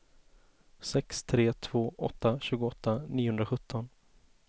sex tre två åtta tjugoåtta niohundrasjutton